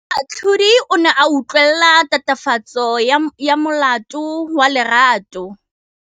Moatlhodi o ne a utlwelela tatofatsô ya molato wa Lerato.